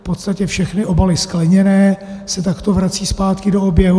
V podstatě všechny obaly skleněné se takto vrací zpátky do oběhu.